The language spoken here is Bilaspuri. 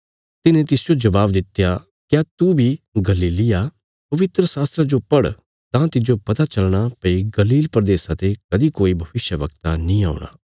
तिन्हे तिसजो जबाब दित्या क्या तू बी गलीली आ पवित्रशास्त्रा जो पढ़ तां तिज्जो पता चलना भई गलील प्रदेशा ते कदीं कोई भविष्यवक्ता नीं औणा